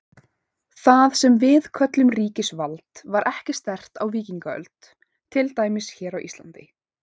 Það sem við köllum ríkisvald var ekki sterkt á víkingaöld, til dæmis hér á Íslandi.